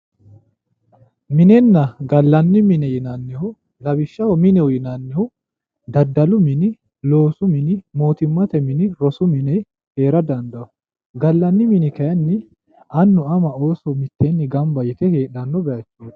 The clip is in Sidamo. Minenna gallanni mine yinannihu lawishshaho mineho yinannihu daddalu mini loosu mini mootimmate mini, rosu mini hee'ra dandaawo, gallanni mini kayiinni annu ama Ooso mitteenni gamba yite heedhanno bayiicho